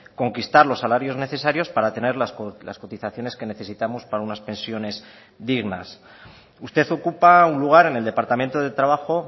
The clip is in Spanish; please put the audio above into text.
conquistar los salarios necesarios para tener las cotizaciones que necesitamos para unas pensiones dignas usted ocupa un lugar en el departamento de trabajo